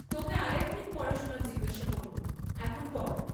তোকে আর এক দিন পড়া শুনা জিজ্ঞাসা করব, এখন পড়।